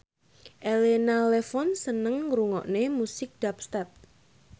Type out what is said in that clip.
Elena Levon seneng ngrungokne musik dubstep